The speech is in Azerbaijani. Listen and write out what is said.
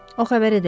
O xəbər edəcək.